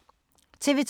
TV 2